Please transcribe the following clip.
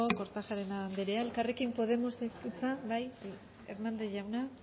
kortajarena andrea elkarrekin podemosek hitza bai hernández jauna